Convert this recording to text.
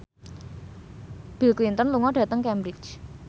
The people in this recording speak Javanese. Bill Clinton lunga dhateng Cambridge